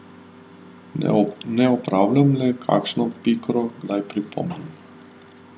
Ne opravljam, le kakšno pikro kdaj pripomnim.